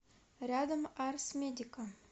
рядом арс медика